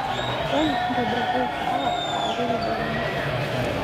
olly ntobirakaki kahawa saare tadekenya